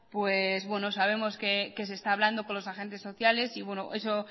sabemos que se está hablando con los agentes sociales y